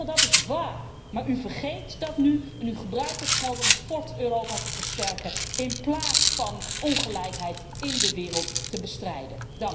Dat is waar, maar u vergeet dat nu en u gebruikt het geld om het fort Europa te versterken in plaats van ongelijkheid in de wereld te bestrijden.